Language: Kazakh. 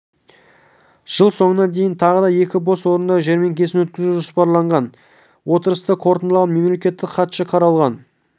жыл соңына дейін тағы да екі бос орындар жәрмеңкесін өткізу жоспарланған отырысты қорытындылаған мемлекеттік хатшы қаралған